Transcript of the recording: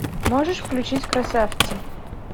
можешь включить красавцы